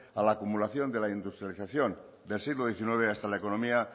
a la acumulación de la industrialización del siglo diecinueve hasta la economía